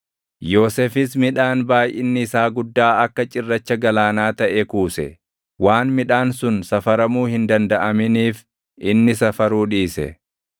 Yoosefis midhaan baayʼinni isaa guddaa akka cirracha galaanaa taʼe kuuse. Waan midhaan sun safaramuu hin dandaʼaminiif inni safaruu dhiise.